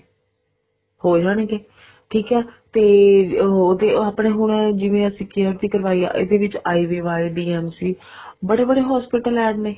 ਹੋ ਜਾਣਗੇ ਠੀਕ ਤੇ ਉਹ ਤੇ ਆਪਣੇ ਹੁਣ ਜਿਵੇਂ ਹੁਣ ਅਸੀਂ care ਦੀ ਕਰਵਾਈ ਆ ਇਹਦੇ ਵਿੱਚ IVI DMC ਬੜੇ ਬੜੇ hospital add ਨੇ